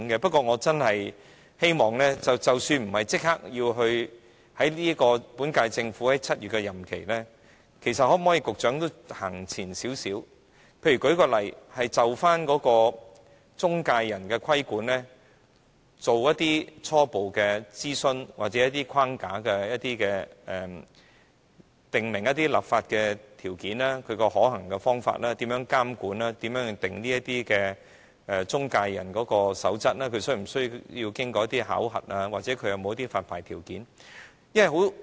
不過，我希望即使不是立即在本屆政府任期至7月之前完成，局長可不可以都走前一步，例如就中介人規管進行初步諮詢或訂立框架，訂明一些立法條件和可行的方法，如何監管、如何訂定中介人守則，是否需要經過考核，或者有何發牌條件等。